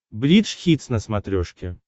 бридж хитс на смотрешке